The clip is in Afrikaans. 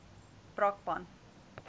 brakpan